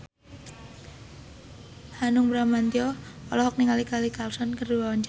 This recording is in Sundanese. Hanung Bramantyo olohok ningali Kelly Clarkson keur diwawancara